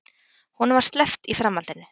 Honum var sleppt í framhaldinu